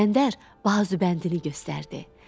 İskəndər bazubəndini göstərdi.